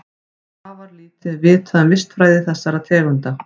Afar lítið er vitað um vistfræði þessara tegunda.